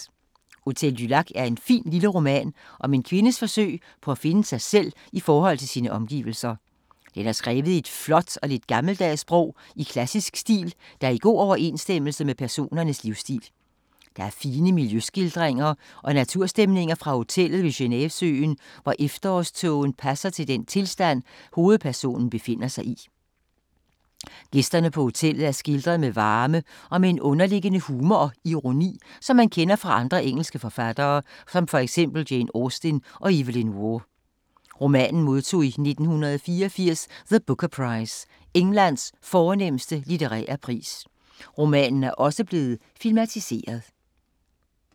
Hotel du Lac er en fin lille roman om en kvindes forsøg på at finde sig selv i forhold til sine omgivelser. Den er skrevet i et flot og lidt gammeldags sprog i klassisk stil, der er i god overensstemmelse med personernes livsstil. Der er fine miljøskildringer og naturstemninger fra hotellet ved Genevesøen, hvor efterårstågen passer til den tilstand, hovedpersonen befinder sig i. Gæsterne på hoteller er skildret med varme og med en underliggende humor og ironi, som man kender fra andre engelske forfattere, for eksempel Jane Austen og Evelyn Waugh. Romanen modtog i 1984 The Booker Prize, Englands fornemste litterære pris. Romanen er også blevet filmatiseret.